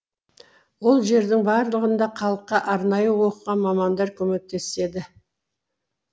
ол жердің барлығында халыққа арнайы оқыған мамандар көмектеседі